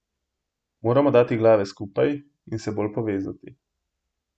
Moramo dati glave skupaj in se bolj povezati.